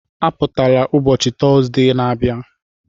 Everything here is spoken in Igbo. Apụtala ụbọchị Tọzdee na-abịa